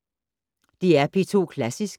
DR P2 Klassisk